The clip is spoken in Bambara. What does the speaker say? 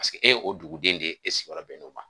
Paseke e ye o duguden de ye, e sigiyɔrɔ bɛn n'o ma